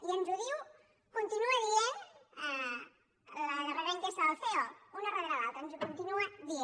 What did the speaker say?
i ens ho diu ho continua dient la darrera enquesta del ceo una darrera l’altra ens ho continua dient